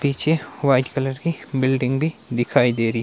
पीछे white colour की building भी दिखाई दे रही--